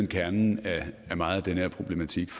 kernen i meget af den her problematik